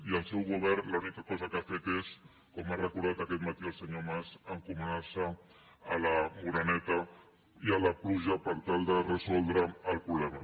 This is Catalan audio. i el seu govern l’única cosa que ha fet és com ha recordat aquest matí el senyor mas encomanar se a la moreneta i a la pluja per tal de resoldre el problema